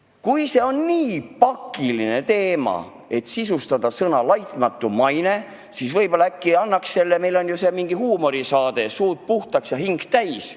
Kui see on nii pakiline küsimus, et tuleb sisustada sõnad "laitmatu maine", siis äkki annaks selle teema arutada huumorisaatesse "Suud puhtaks ja hing täis".